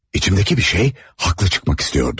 İçimdəki bir şey haqlı çıxmaq istəyirdi.